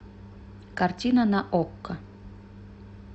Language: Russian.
картина на окко